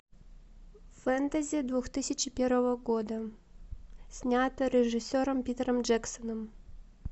фэнтези две тысячи первого года снято режиссером питером джексоном